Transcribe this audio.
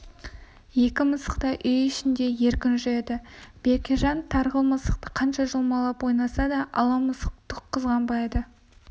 екі мысық та үй ішіңде еркін жүреді бекежан тарғыл мысықты қанша жұлмалап ойнаса да ала мысық түк қызғанбайды